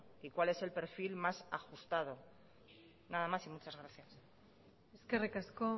y cuál es el perfil más ajustado nada más y muchas gracias eskerrik asko